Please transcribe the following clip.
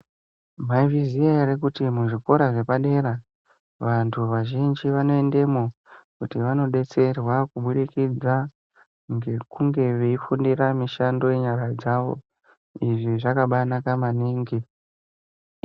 Mwaizviziya ere kuti muzvikora zvepadera vantu vazhinji vanoendemwo kuti vanodetserwa kubudikidza ngekunge veifundira mishando yenyara dzawo izvi zvakaba anaka maningi.